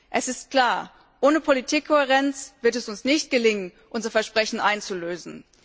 Es ist klar, ohne Politikkohärenz wird es uns nicht gelingen, unser Versprechen einzulösen.